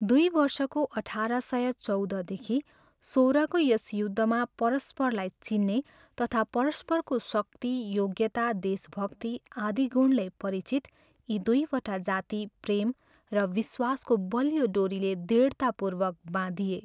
दुई वर्षको अठार सय चौधदेखि सोह्रको यस युद्धमा परस्परलाई चिन्ने तथा परस्परको शक्ति, योग्यता, देशभक्ति आदि गुणले परिचित यी दुईवटा जाति प्रेम र विश्वासको बलियो डोरीले दृढतापूर्वक बाँधिए।